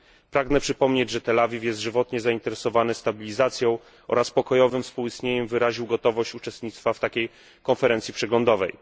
Pragnę przypomnieć, że Tel Awiw jest żywotnie zainteresowany stabilizacją oraz pokojowym współistnieniem i wyraził gotowość uczestnictwa w takiej konferencji przeglądowej.